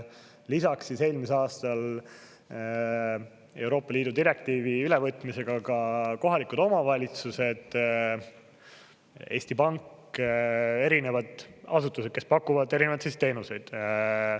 Lisaks eelmisel aastal Euroopa Liidu direktiivi ülevõtmisega ka kohalikud omavalitsused, Eesti Pank, erinevad asutused, kes pakuvad erinevaid teenuseid.